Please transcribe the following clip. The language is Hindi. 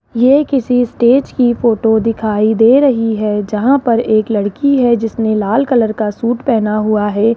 ये किसी स्टेज की फोटो दिखाई दे रही है जहां पर एक लड़की है जिसने लाल कलर का सूट पहना हुआ है।